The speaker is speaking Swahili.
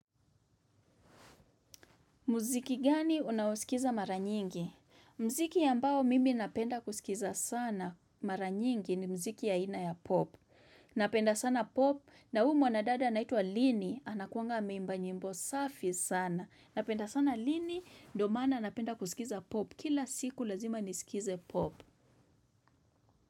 Muziki gani unaosikiza mara nyingi? Mziki ambao mimi napenda kusikiza sana mara nyingi ni mziki aina ya pop. Napenda sana pop na huu wanadada anaitwa lini anakuwanga ameimba nyimbo safi sana. Napenda sana lini ndio maana napenda kusikiza pop kila siku lazima nisikize pop.